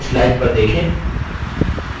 इस स्लाइड पर देखें